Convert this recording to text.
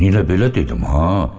Eynilə belə dedim ha.